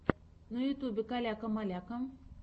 на ютьюбе каляка маляка